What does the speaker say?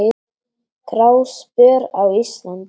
Gráspör á Íslandi